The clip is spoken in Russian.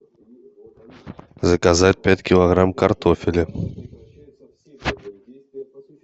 заказать пять килограмм картофеля